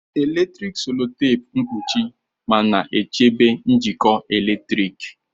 Eletrik sellotape mkpuchi ma na-echebe njikọ eletrik.